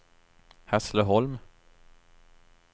Hässleholm